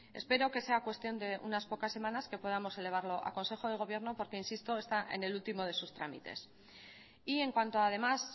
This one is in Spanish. espero que sea cuestión de unas pocas semanas que podamos elevarlo a consejo de gobierno porque insisto está en el último de sus trámites y en cuanto además